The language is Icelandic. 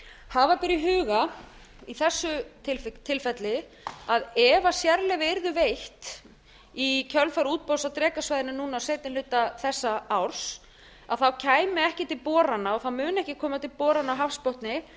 hafa ber í huga í þessu tilfelli að ef sérleyfi yrðu veitt í kjölfar útboðs á drekasvæðinu núna á seinni hluta þessa árs komi ekki til borana og það mun ekki koma til borana á hafsbotni fyrr